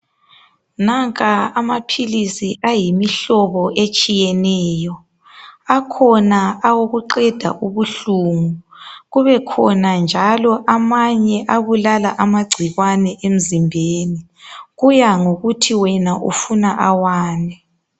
Nanka amaphilisi ayimihlobo etshiyeneyo akhona awokuqeda ubuhlungu kubekhona njalo amanye abulala amagcikwane emzimbeni kuyangokuthi wena ufuna awani.